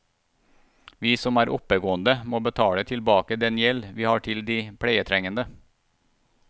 Vi som er oppegående må betale tilbake den gjeld vi har til de pleietrengende.